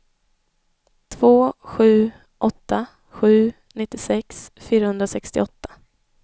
två sju åtta sju nittiosex fyrahundrasextioåtta